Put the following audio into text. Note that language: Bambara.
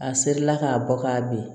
A serila k'a bɔ k'a bin